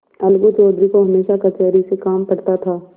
अलगू चौधरी को हमेशा कचहरी से काम पड़ता था